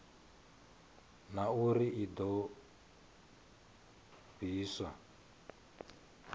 na uri i do pfiswa